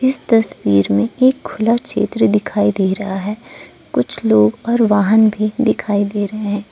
इस तस्वीर में एक खुला क्षेत्र दिखाई दे रहा है कुछ लोग और वाहन भी दिखाई दे रहे हैं।